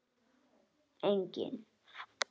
Gul spjöld: Engin.